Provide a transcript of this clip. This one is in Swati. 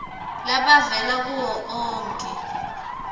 labavela kuwo onkhe